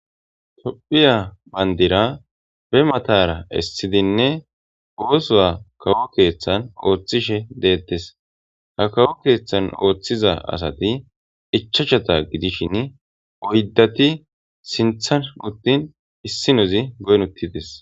Topphiya bandira be matara issidinne oosowa kawo keeththan ooththishe deettes ha kawo keeththan ooththiza asati ichachata gidishin oyddati sinthan uttin issinozi goyn uttites